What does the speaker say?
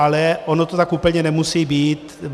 Ale ono to tak úplně nemusí být.